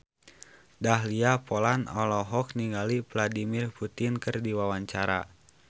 Dahlia Poland olohok ningali Vladimir Putin keur diwawancara